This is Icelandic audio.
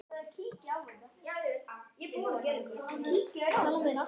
Ertu að reyna við mig?